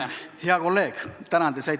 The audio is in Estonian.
Hea kolleeg, tänan!